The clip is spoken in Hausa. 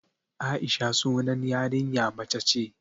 Aisha sunan yarinya mace ce